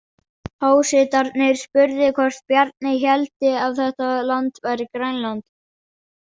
Hásetarnir spurðu hvort Bjarni héldi að þetta land væri Grænland.